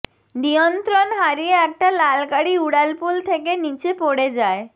নিয়ন্ত্রণ হারিয়ে একটা লাল গাড়ি উড়াল পুল থেকে নীচে পড়ে যায়